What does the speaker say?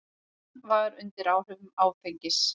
Hann var undir áhrifum áfengis.